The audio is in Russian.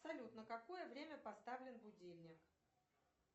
салют на какое время поставлен будильник